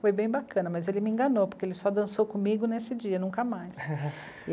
Foi bem bacana, mas ele me enganou, porque ele só dançou comigo nesse dia, nunca mais.